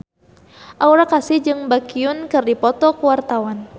Aura Kasih jeung Baekhyun keur dipoto ku wartawan